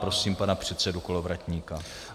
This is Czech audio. Prosím pana předsedu Kolovratníka.